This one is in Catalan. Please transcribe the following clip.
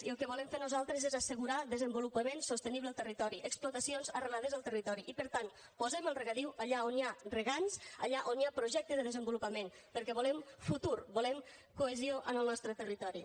i el que volem fer nosaltres és assegurar desenvolupament sostenible al territori explotacions arrelades al territori i per tant posem el regadiu allà on hi ha regants allà on hi ha projecte de desenvolupament perquè volem futur volem cohesió en el nostre territori